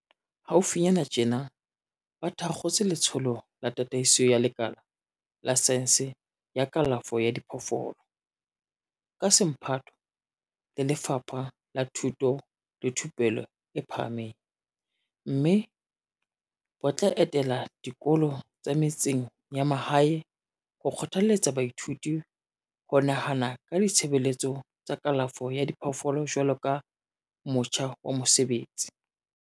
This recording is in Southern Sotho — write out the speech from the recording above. Haufinyana tjena ba thakgotse Letsholo la Tataiso ya Lekala la Saense ya Kalafo ya Diphoofolo, ka semphato le Lefapha la Thuto le Thupello e Phahameng, mme bo tla etela dikolo tsa metseng ya mahae ho kgothaletsa baithuti ho nahana ka ditshebeletso tsa kalafo ya diphoofolo jwaloka motjha wa mosebetsi.